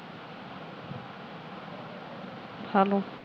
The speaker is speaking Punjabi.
hello